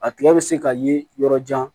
A tigɛ bɛ se ka ye yɔrɔ jan